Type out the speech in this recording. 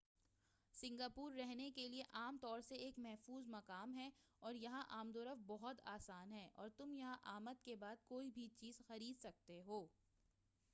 سنگا پور رہنے کے لئے عام طور سے ایک محفوظ مقام ہے اور یہاں آمد و رفت بہت آسان ہے اور تم یہاں آمد کے بعد کوئی بھی چیز خرید سکتے ہو